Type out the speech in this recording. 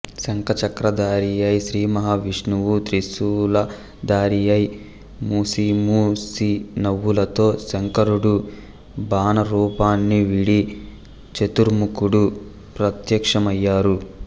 శంఖచక్రథారియై శ్రీమహా విష్ణువు త్రిశూలధారియై ముసిముసినవ్వులతో శంకరుడు బాణరూపాన్నివీడి చతుర్ముఖుడు ప్రత్యక్షమయ్యారు